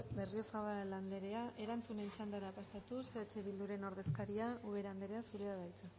berriozabal anderea erantzunen txandara pasatuz eh bilduren ordezkaria ubera anderea zurea da hitza